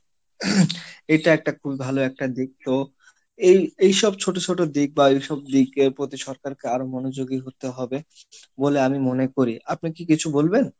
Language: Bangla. এটা একটা খুবই ভালো একটা দিক তো এই এইসব ছোট ছোট দিক বা এইসব দিক সরকারকে আরো মনোযোগী হতে হবে, বলে আমি মনে করি, আপনি কি কিছু বলবেন?